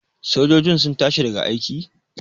sojojin sun tashi daga aiki?